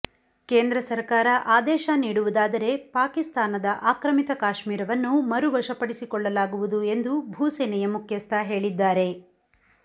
ಕೇಂದ್ರ ಸರಕಾರ ಆದೇಶ ನೀಡುವುದಾದರೆ ಪಾಕಿಸ್ತಾನದ ಆಕ್ರಮಿತ ಕಾಶ್ಮೀರವನ್ನು ಮರುವಶಪಡಿಸಿಕೊಳ್ಳಲಾಗುವುದು ಎಂದು ಭೂಸೇನೆಯ ಮುಖ್ಯಸ್ಥ ಹೇಳಿದ್ದಾರೆ